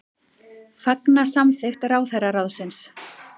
Fagna samþykkt ráðherraráðsins